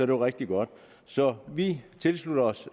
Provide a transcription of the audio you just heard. jo rigtig godt så vi tilslutter os